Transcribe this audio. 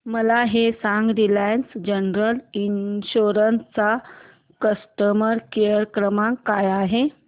मला हे सांग रिलायन्स जनरल इन्शुरंस चा कस्टमर केअर क्रमांक काय आहे